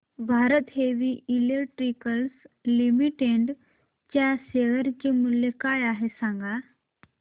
Bharat heavy electricals limited च्या share चे मूल्य काय आहे सांगा